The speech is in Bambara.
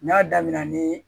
N'a daminɛna ni